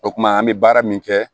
O kumana an bɛ baara min kɛ